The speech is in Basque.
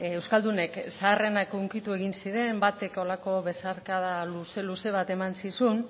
euskaldunek zaharrenak hunkitu egin ziren batek holako besarkada luze luze bat eman zizun